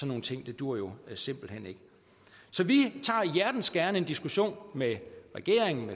nogle ting duer simpelt hen ikke så vi tager hjertens gerne en diskussion med regeringen og